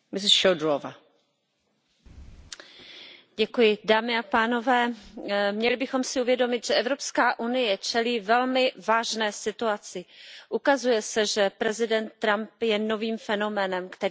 Paní předsedající, měli bychom si uvědomit, že Evropská unie čelí velmi vážné situaci. Ukazuje se, že prezident Trump je novým fenoménem, který neposkytuje jistého, předvídatelného partnera.